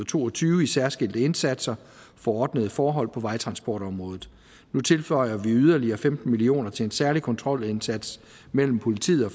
to og tyve i særskilte indsatser for ordnede forhold på vejtransportområdet nu tilføjer vi yderligere femten million kroner til en særlig kontrolindsats mellem politiet og